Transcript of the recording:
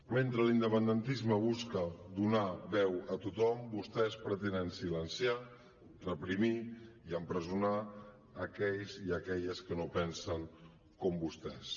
mentre l’independentisme busca donar veu a tothom vostès pretenen silenciar reprimir i empresonar aquells i aquelles que no pensen com vostès